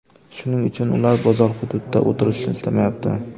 Shuning uchun ular bozor hududida o‘tirishni istamayapti.